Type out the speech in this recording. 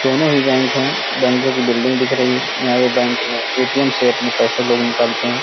दोनों ही बैंक हैं। बैंको की बिल्डिंग दिख रही हैं। यहाँ पर बैंक में ए.टी.एम. से अपने पैसे लोग निकालते हैं।